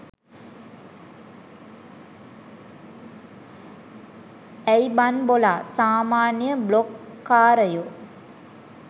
ඇයි බන් බොලා සාමාන්‍ය බ්ලොග් කාරයො